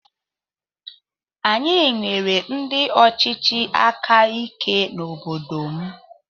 Anyị nwere ndị ọchịchị áká ike n'obodo m.